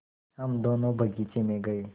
हम दोनो बगीचे मे गये